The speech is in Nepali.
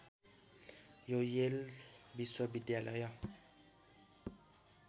यो येल विश्वविद्यालय